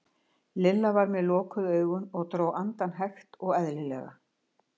Lilla var með lokuð augun og dró andann hægt og eðlilega.